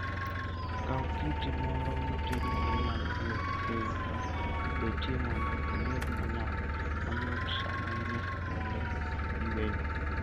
Kaw kiti moro matin ma inyalo duoko piny kata betie mondo obed mayot sama in e kuonde yueyo.